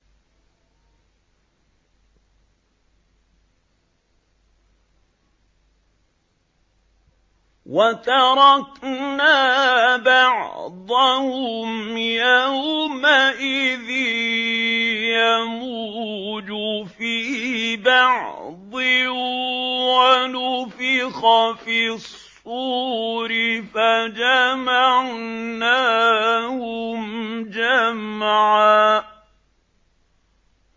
۞ وَتَرَكْنَا بَعْضَهُمْ يَوْمَئِذٍ يَمُوجُ فِي بَعْضٍ ۖ وَنُفِخَ فِي الصُّورِ فَجَمَعْنَاهُمْ جَمْعًا